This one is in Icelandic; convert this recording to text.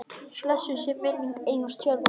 Blessuð sé minning Einars Tjörva.